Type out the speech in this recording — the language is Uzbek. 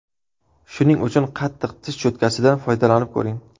Shuning uchun qattiq tish cho‘tkasidan foydalanib ko‘ring.